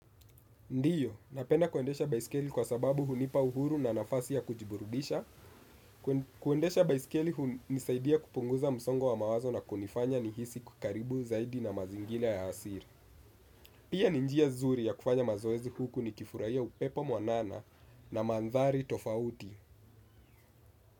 Ndiyo, napenda kuendesha baisikeli kwa sababu hunipa uhuru na nafasi ya kujiburudisha. Kuendesha baisikeli hunisaidia kupunguza msongo wa mawazo na kunifanya nihisi kukaribu zaidi na mazingira ya asili. Pia ni njia nzuri ya kufanya mazoezi huku nikifurahia upepo mwanana na madhari tofauti.